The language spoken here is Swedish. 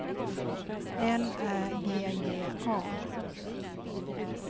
L Ä G G A